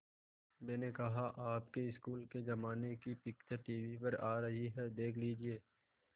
मैंने कहा आपके स्कूल के ज़माने की पिक्चर टीवी पर आ रही है देख लीजिये